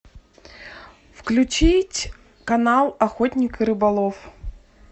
включить канал охотник и рыболов